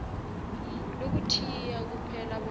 lokuthiya kuphela bona